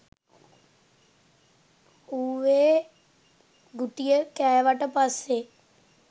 ඌ ඒ ගුටිය කෑවට පස්සේ.